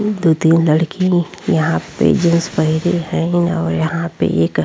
ई दू तीन लड़की यहाँ पे जीन्स पेहनी हैन् और यहाँ पे एक--